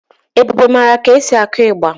Ebube mara ka a na-akụ ilu.